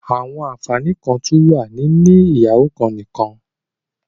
There are also benefits of having just one wife